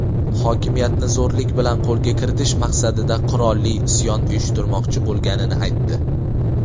hokimiyatni zo‘rlik bilan qo‘lga kiritish maqsadida qurolli isyon uyushtirishmoqchi bo‘lganini aytdi.